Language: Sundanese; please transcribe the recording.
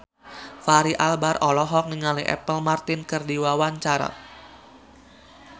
Fachri Albar olohok ningali Apple Martin keur diwawancara